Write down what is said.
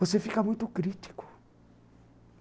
Você fica muito crítico.